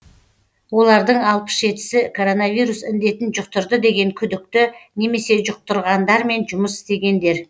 олардың алпыс жетісі коронавирус індетін жұқтырды деген күдікті немесе жұқтырғандармен жұмыс істегендер